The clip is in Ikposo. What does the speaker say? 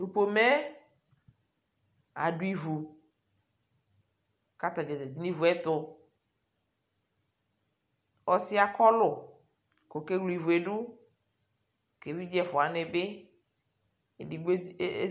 Tupome adʊ ivʊ katadza zati ɲu ivuɛtu ɔsɩɛ akɔlʊ kɔkewle ɩvuɛdʊ ke ɛvidze eƒua waɲibi edigbo ee